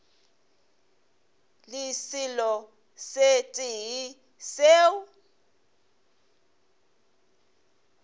le selo se tee seo